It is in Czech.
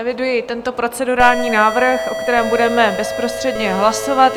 Eviduji tento procedurální návrh, o kterém budeme bezprostředně hlasovat.